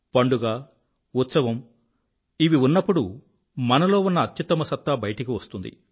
పండుగ ఉత్సవము ఉన్నప్పుడు మనలో ఉన్న అత్యుత్తమ సత్తా బయటకు వస్తుంది